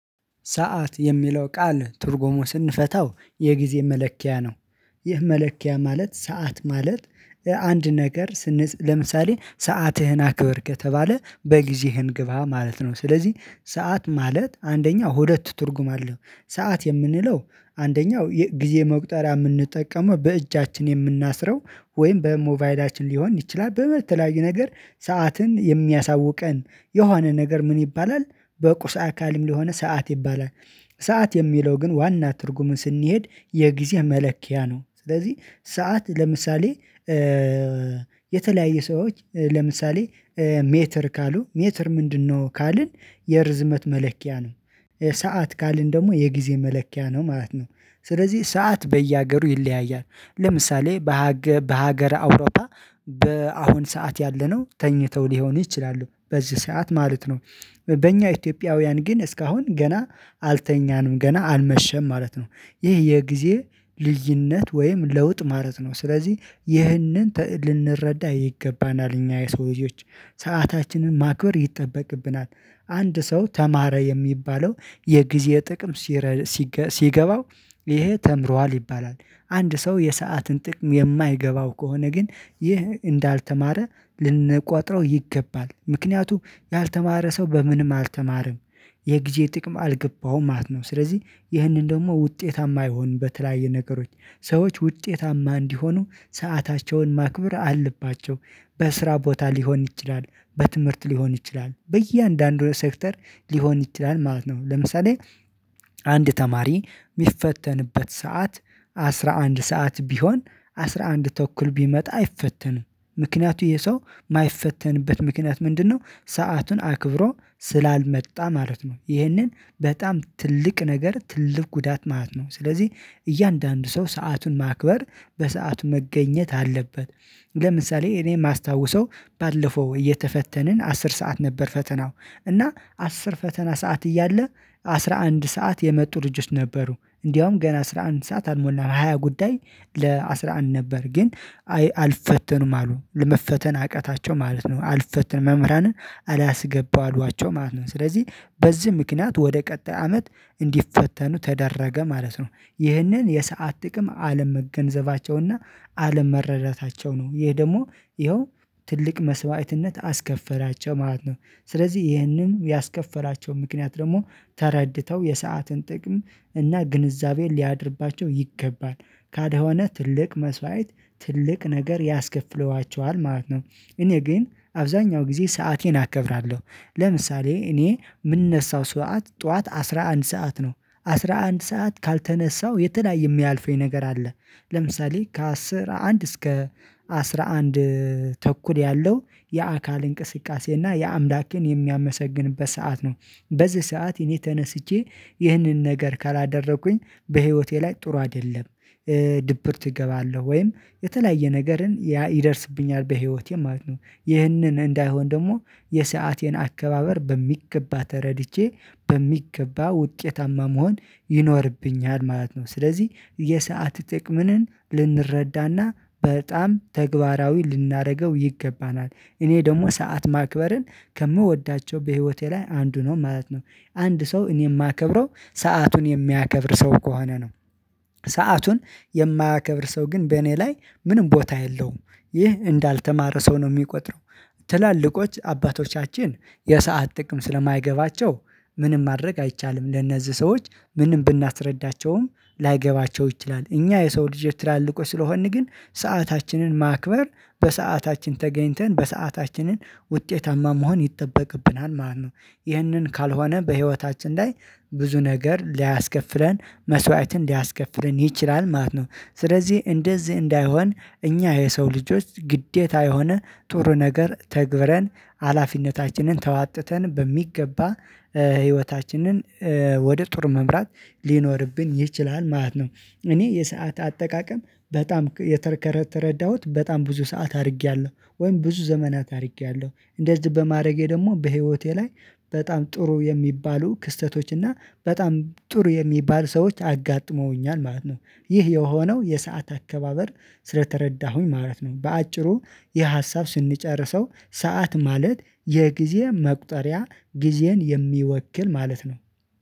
ሰዓት የሚለው ቃል ትርጉሙ ስንፈታው የጊዜ መለኪያ ነው። ይህ መለኪያ ማለት ሰዓት ማለት አንድ ነገር ለምሳሌ ሰዓትህን አክበር ከተባለ በጊዜህን ግባ ማለት ነው። ስለዚህ ሰዓት ማለት አንደኛው ሁለት ትርጉም አለው። ሰዓት የምንለው አንደኛው ጊዜ መቁጠሪያ የምንጠቀመው በእጃችን የምናስረው ወይም በሞቫይዳችን ሊሆን ይችላል በተለያዩ ነገር ሰዓትን የሚያሳውቀን የሆነ ነገር ምን ይባላል? በቁሳ አካልም ለሆነ ሰዓት ይባላል። ሰዓት የሚለው ግን ዋና ትርጉም ስንሄድ የጊዜ መለኪያ ነው። ስለዚህ ሰዓት ለምሳሌ የተለያየ ሰዎች ለምሳሌ ሜትር ካሉ ሜትር ምንድነው ካልን የርዝመት መለኪያ ነው። ሰዓት ካልን ደግሞ የጊዜ መለኪያ ነው ማለት ነው። ስለዚህ ሰዓት በየሀገሩ ይለያያል። ለምሳሌ በሀገር በሀገረ አውሮፓ በአሁን ሰዓት ያለነው ተኝተው ሊሆን ይችላሉ በዚህ ሰዓት ማለት ነው። በእኛ ኢትዮጵያውያን ግን እስካሁን ገና አልተኛንም ገና አልመሸም ማለት ነው። ይህ የጊዜ ልዩነት ወይም ለውጥ ማለት ነው። ስለዚህ ይህንን ትእድ ልንረዳ ይገባናል እኛ የሰው ልጆች ሰአታችንን ማክበር ይጠበቅብናል። አንድ ሰው ተማረ የሚባለው የጊዜ ጥቅም ሲረ ሲገ ሲገባው ይሄ ተምሯል ይባላል። አንድ ሰው የሰአትን ጥቅም የማይገባው ከሆነ ግን ይህ እንዳልተማረ ልንቆጥረው ይገባል ምክንያቱም ያልተማረ ሰው በምንም አልተማረም። የጊዜ ጥቅም አልገባሁም ማት ነው። ስለዚህ ይህንን ደግሞ ውጤታማ አይሆንም በተለያየ ነገሮች ሰዎች ውጤታማ እንዲሆኑ ሰአታቸውን ማክብር አለባቸው። በስራ ቦታ ሊሆን ይችላል በትምህርት ሊሆን ይችላል በእያንዳንዱ ሴክተር ሊሆን ይችላል ማለት ነው። ለምሳሌ አንድ ተማሪ የሚፈተንበት ሰዓት አስራ አንድ ሰዓት ቢሆን አስራ አንድ ተኩል ቢመጣ አይፈተንም። ምክንያቱ የሰው የማይፈተንበት ምክንያት ምንድነው? ሰአቱን አክብሮ ስላልመጣ ማለት ነው። ይህንን በጣም ትልቅ ነገር ትልቅ ጉዳት ማለት ነው። ስለዚህ እያንዳንዱ ሰው ሰአቱን ማክበር በሰአቱ መገኘት አለበት። ለምሳሌ እኔ የማስታውሰው ባለፈው እየተፈተንን አስር ሰዓት ነበር ፈተናው እና አስር ፈተና ሰዓት እያለ አስራ አንድ ሰዓት የመጡ ልጅት ነበሩ እንደውም ገና አስራ አንድ ሰዓት አልሞላም ሃያ ጉዳይ። ለአስራ አንድ ነበር ግን አልፈተኑም አሉ ለመፈተን አቅታቸው ማለት ነው። አልፈትን መምህራንን አላስገባው አሏቸው ማለት ነው። ስለዚህ በዚህ ምክንያት ወደ ቀጣይ አመት እንዲፈተኑ ተደረገ ማለት ነው። ይህንን የሰዓት ጥቅም አለም መገንዘባቸውና አለም መረዳታቸው ነው። ይሄ ደግሞ ይኸው ትልቅ መስዋዕትነት አስከፈራቸው ማለት ነው። ስለዚህ ይሄንን ያስከፈራቸው ምክንያት ደግሞ ተረድተው የሰዓትን ጥቅም እና ግንዛቤን ሊያድርባቸው ይገባል። ካልሆነናትልቅ መስዋዕት ትልቅ ነገር ያስከፍለዋቸዋል ማለት ነው። እኔ ግን አብዛኛው ጊዜ ሰአቴን አከብራለሁ። ለምሳሌ እኔ የምነሳው ሰዓት ጠዋት አስራ አንድ ሰዓት ነው አስራ አንድ ሰዓት ካልተነሳው የተለያየየ የሚያልፈኝ ነገር አለ። ለምሳሌ ከአስራ አንድ እስከ አስራ አንድ ተኩል ያለው የአካል እንቅስቃሴ እና የአምላኬን የሚያመሰግንበት ሰዓት ነው። በዚህ ሰዓት እኔ ተነስቼ ይህንን ነገር ካላደረኩኝ በህይወቴ ላይ ጥሩ አይደለም። ድብርት እገባለሁ ወይም የተለያየ ነገርን ያ ይደርስብኛል በህይወቴ ማለት ነው። ይህንን እንዳይሆን ደግሞ የሰአቴን አከባበር በሚገባ ተረድቼ በሚገባ ውጤታማ መሆን ይኖርብኛል ማለት ነው። ስለዚህ የሰዓት ጥቅምንን ልንረዳና በጣም ተግባራዊ ልናደርገው ይገባናል። እኔ ደግሞ ሰዓት ማክበርን ከምወዳቸው በህይወቴ ላይ አንዱ ነው ማለት ነው። አንድ ሰው እኔ የማከብረው ሰአቱን የሚያከብር ሰው ከሆነ ነው። ሰአቱን የማያከብር ሰው ግን በእኔ ላይ ምንም ቦታ የለውም። ይህ እንዳልተማረ ሰው ነው የሚቆጥረው። ትላልቆች አባቶቻችን የሰዓት ጥቅም ስለማይገባቸው ምንም ማድረግ አይቻልም ለነዚህ ሰዎች ምንም ብናስረዳቸውም ላይገባቸው ይችላል። እኛ የሰው ልጅ ትላልቆች ስለሆንን ግን ሰአታችንን ማክበር በሰአታችን ተገኝተን በሰዓታችንን ውጤታማ መሆን ይጠበቅብናል ማለት ነው። ይህንን ካልሆነ በህይወታችን ላይ ብዙ ነገር ሊያስከፍለን መስዋዕትን ሊያስከፍለን ይችላል ማለት ነው። ስለዚህ እንደዚህ እንዳይሆን እኛ የሰው ልጆች ግዴታ የሆነ ጥሩ ነገር ተግብረን ሀላፊነታችንን ተዋጥተን በሚገባ ህይወታችንን ወደ ጥር መምራት ሊኖርብን ይችላል ማለት ነው። እኔ የሰዓት አጠቃቀም በጣም የተረከረተ ረዳሁት በጣም ብዙ ሰዓት አድርጌያለሁ ወይም ብዙ ዘመናት አድርጌያለሁ እንደዚህ በማድረጌ ደግሞ በህይወቴ ላይ በጣም ጥሩ የሚባሉ ክስተቶች እና በጣም ጥሩ የሚባሉ ሰዎች አጋጥመውኛል ማለት ነው። ይህ የሆነው የሰዓት አከባበር ስለተረዳሁኝ ማለት ነው። በአጭሩ የሀሳብ ስንጨርሰው ሰዓት ማለት የጊዜ መቁጠሪያ ጊዜን የሚወክል ማለት ነው